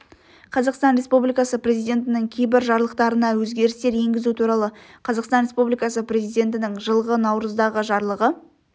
қазақстан республикасы президентінің кейбір жарлықтарына өзгерістер енгізу туралы қазақстан республикасы президентінің жылғы наурыздағы жарлығы